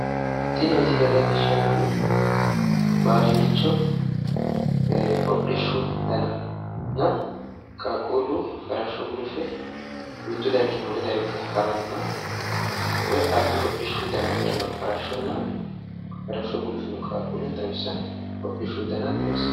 Tini misile leellishshannohu baadillicho hodhishshu dananna qaaquullu farashsho gulufe mittu dargii wole darga haranna woy albbi hodhishu dana ikkinoha farashshonna farashsho gulufino qaaqo xawissanno hodhishshu dana xawissanno.